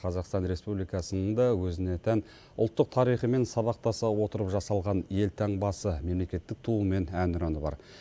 қазақстан республикасының да өзіне тән ұлттық тарихымен сабақтаса отырып жасалған елтаңбасы мемлекеттік туы мен әнұраны бар